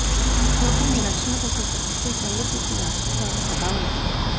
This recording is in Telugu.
ఈ శ్లోకాన్ని రక్షణ కోసం పఠిస్తే శైల పుత్రి ఆశీర్వాదం సదా ఉంటుంది